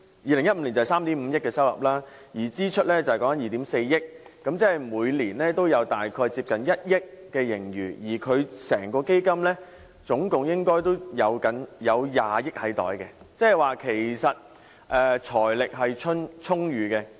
2015年收入3億 5,000 萬元，支出是2億 4,000 萬元，每年大約有接近1億元盈餘，而整個基金總共應有20億元儲備，換言之，其實財力是充裕的。